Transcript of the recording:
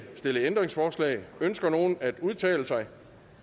stillet ændringsforslag ønsker nogen at udtale sig